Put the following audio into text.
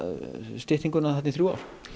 styttinguna í þrjú ár